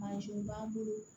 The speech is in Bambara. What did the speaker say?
b'an bolo